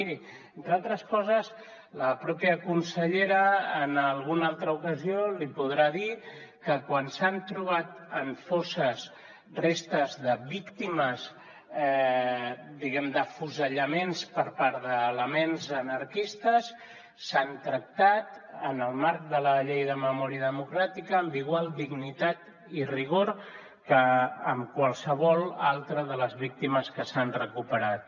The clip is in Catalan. miri entre altres coses la pròpia consellera en alguna altra ocasió li podrà dir que quan s’han trobat en fosses restes de víctimes diguem ne d’afusellaments per part d’elements anarquistes s’han tractat en el marc de la llei de memòria democràtica amb igual dignitat i rigor que qualsevol altra de les víctimes que s’han recuperat